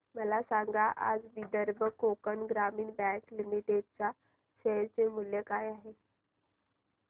मला सांगा आज विदर्भ कोकण ग्रामीण बँक लिमिटेड च्या शेअर चे मूल्य काय आहे